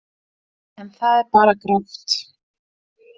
En það er bara grátt.